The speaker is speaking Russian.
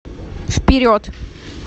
вперед